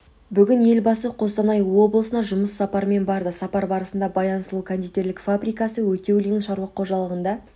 бүгін елбасы қостанай облысына жұмыс сапарымен барды сапар барысында баян сұлу кондитерлік фабрикасы өтеулин шаруа қожалығында